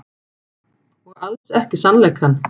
Og alls ekki sannleikann.